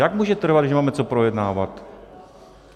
Jak může trvat, když nemáme co projednávat?